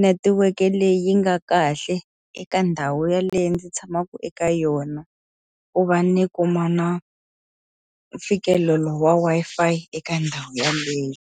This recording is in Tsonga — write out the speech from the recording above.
netiweke leyi yi nga kahle eka ndhawu yaleyo ndzi tshamaka eka yona, ku va ni kuma na mfikelelo wa Wi-Fi eka ndhawu yaleyo.